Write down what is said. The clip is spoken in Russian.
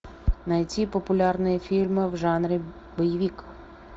найти популярные фильмы в жанре боевик